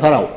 held